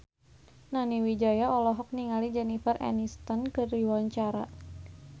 Nani Wijaya olohok ningali Jennifer Aniston keur diwawancara